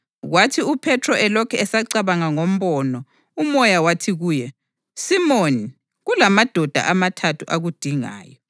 Kwathi uPhethro elokhu esacabanga ngombono, uMoya wathi kuye, “Simoni, kulamadoda amathathu akudingayo.